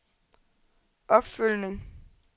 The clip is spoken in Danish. opfølgning